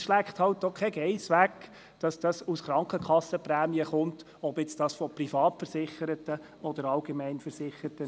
Es schleckt keine Geiss weg, dass das Geld von Krankenkassenprämien kommt, ob von Privatversicherten oder Allgemeinversicherten.